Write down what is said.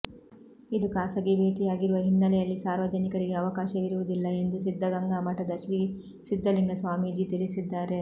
ಇದು ಖಾಸಗಿ ಭೇಟಿಯಾಗಿರುವ ಹಿನ್ನೆಲೆಯಲ್ಲಿ ಸಾರ್ವಜನಿಕರಿಗೆ ಅವಕಾಶವಿರುವುದಿಲ್ಲ ಎಂದು ಸಿದ್ಧಗಂಗಾ ಮಠದ ಶ್ರೀ ಸಿದ್ಧಲಿಂಗ ಸ್ವಾಮೀಜಿ ತಿಳಿಸಿದ್ದಾರೆ